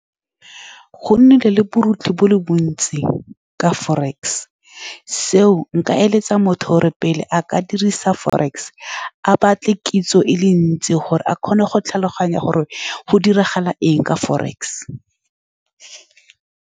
Go nnile le borukgutlhi bo le bontsi ka forex, seo nka eletsa motho gore pele a ka dirisa forex, a batle kitso e le ntsi gore a kgone go tlhaloganya gore go diragala eng ka forex.